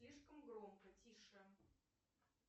слишком громко тише